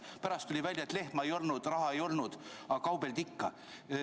Pärast tuli välja, et lehma ei olnud, raha ei olnud, aga kaubeldi ikka.